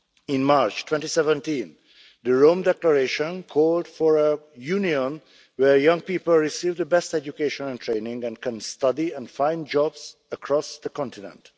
In March 2017, the Rome Declaration called for a Union where young people receive the best education and training and can study and find jobs across the continent.